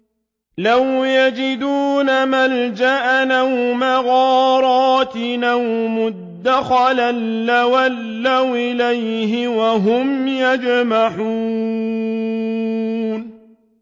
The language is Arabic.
لَوْ يَجِدُونَ مَلْجَأً أَوْ مَغَارَاتٍ أَوْ مُدَّخَلًا لَّوَلَّوْا إِلَيْهِ وَهُمْ يَجْمَحُونَ